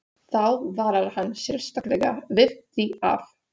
Þá varar hann sérstaklega við því, að